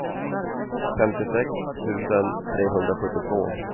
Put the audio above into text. femtiosex tusen trehundrasjuttiotvå